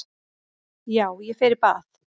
Já, ég fer í bað.